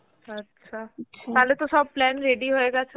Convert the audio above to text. আচ্ছা, তাহলে তো সব plan ready হয়ে গেছে